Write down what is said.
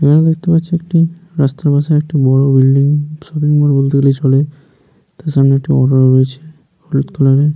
Building দেখতে পাচ্ছি একটি রাস্তার পাশে একটি বড় বিল্ডিং শপিং মল বলতে গেলে চলে তার সামনে একটি অটো রয়েছে হলুদ কালারের ।